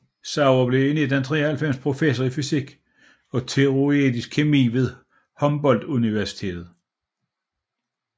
Sauer blev i 1993 professor i fysisk og teoretisk kemi ved Humboldt Universitetet